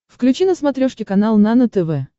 включи на смотрешке канал нано тв